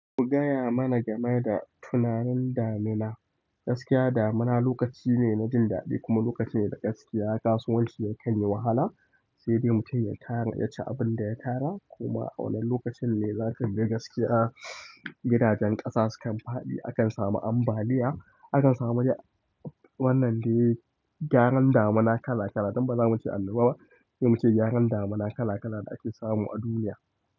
Ku gaya mana game da tunanin damina. Gaskiya damina lokaci ne na jin daɗi kuma lokaci ne da gaskiya kasuwanci yakan yi wahala, sai dai mutum ya tarar ya ci abin da ya tara. Kuma wannan lokacin ne za ka ga gaskiya. Gidajen ƙasa su kan faɗi akan samu ambaliya akan samu wannan dai gyaran damina kala kala. Don bazamu ce annoba ba, sai mu ce gyaran damina kala kala da ake samu a duniya.